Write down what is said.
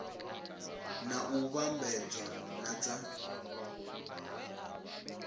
na u vhambedzea na dza